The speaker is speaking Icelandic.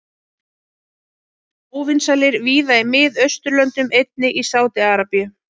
Bretar voru óvinsælir víða í Mið-Austurlöndum, einnig í Sádi-Arabíu.